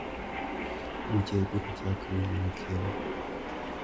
Buche ibiro chak winjo machiegni.